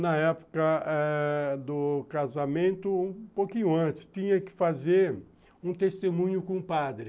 Na época ãh do casamento, um pouquinho antes, tinha que fazer um testemunho com o padre.